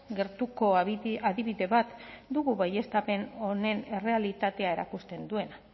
gertuko adibide bat dugu baieztapen honen errealitatea erakusten duena